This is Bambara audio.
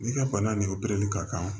N'i ka bana nin opereli ka kan